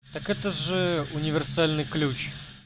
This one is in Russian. так это же универсальный ключ